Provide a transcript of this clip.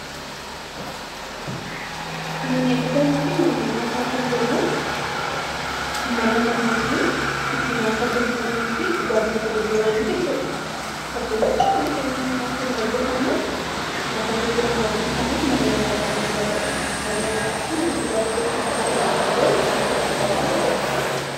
Manneen dhugaatii fi manneen nyaataa kan jennu mana namoonni itti nyaata gurguranii fi dhugaatii itti gurguran jechuu dha. Fakkeenyaaf, mana keenyatti nyaati nu hojjetannu nyaata gurguramu waan hin taaneef mana nyaataa jedhamuu hin danda'u. Mana nyaataa fi mana dhugaatii jechuu kan danda'amu garuu kan itti gurguramu jechuu dha.